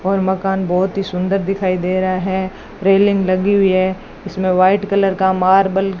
और मकान बहोत ही सुंदर दिखाई दे रहा है रेलिंग लगी हुई है इसमें वाइट कलर का मार्बल --